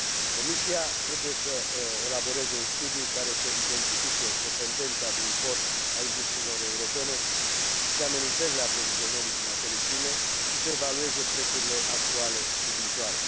Comisia trebuie să elaboreze un studiu care să identifice dependența de import a industriilor europene și amenințările aprovizionării cu materii prime și să evalueze prețurile actuale și viitoare.